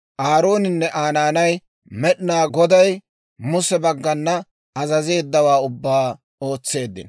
Aarooninne Aa naanay Med'inaa Goday Muse baggana azazeeddawaa ubbaa ootseeddino.